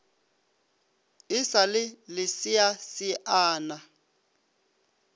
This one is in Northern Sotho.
e sa le leseasea na